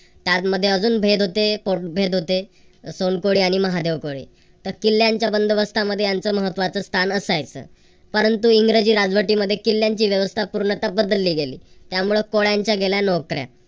त्यामध्ये अजून भेद होते भेद होते सोनकोळी आणि महादेवकोळी तर किल्यांच्या बंदोबस्ता मध्ये यांचं महत्वाचं स्थान असायचं. परंतु इंग्रजी राजवटींमध्ये किल्यांची व्यवस्था पूर्णता बदलली गेली. त्यामुळे कोळ्यांच्या गेल्या नोकऱ्या